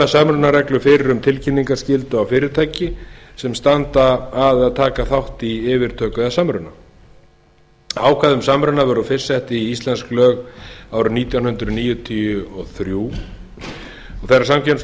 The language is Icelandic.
samrunareglur fyrir um tilkynningarskyldu á fyrirtæki sem standa að eða taka þátt í yfirtöku eða samruna ákvæði um samruna voru fyrst sett í íslensk lög árið nítján hundruð níutíu og þrjú og þegar samkeppnislögum